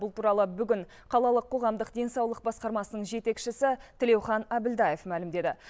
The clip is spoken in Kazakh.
бұл туралы бүгін қалалық қоғамдық денсаулық басқармасының жетекшісі тілеухан әбілдаев мәлімдеді